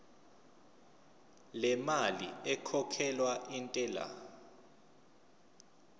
lemali ekhokhelwa intela